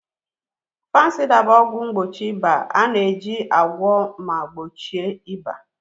Fanusida bụ ọgwụ mgbochi ịba na-eji agwọ ma gbochie ịba.